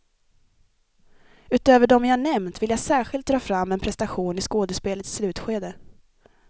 Utöver dem jag nämnt vill jag särskilt dra fram en prestation i skådespelets slutskede.